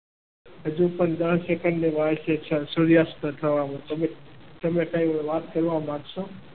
હજુ પણ દસ સેકન્ડની વાર છે સૂર્યાસ્ત થવામાં. તમે કઈ વાત કરવા માંગશો?